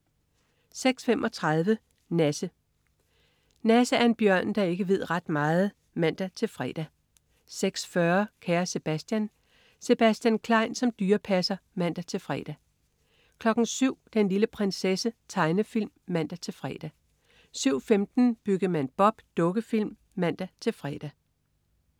06.35 Nasse. Nasse er en bjørn, der ikke ved ret meget (man-fre) 06.40 Kære Sebastian. Sebastian Klein som dyrepasser (man-fre) 07.00 Den lille prinsesse. Tegnefilm (man-fre) 07.15 Byggemand Bob. Dukkefilm (man-fre)